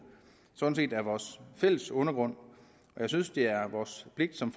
sådan set er vores fælles undergrund jeg synes det er vores pligt som